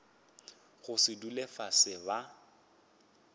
go se dule fase ba